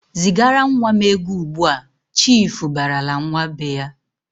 "Zigara nwa m ego ugbu!"Chiifu barala nwa be ya.